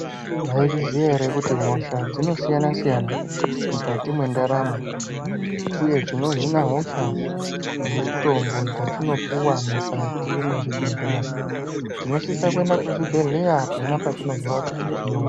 Mwazviziya here kuti hosha dzinosiyana-siyana mukati mwendaramo uye chinohina hosha mutombo yatinopuwa mukati mwezvibhedhleya tinosise kuende kuzvibhedhleya pona patinozwa kuti tino....